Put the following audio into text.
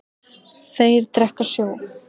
Þeir drekka sjó.